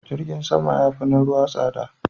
Jirgin sama ya fi na ruwa tsada.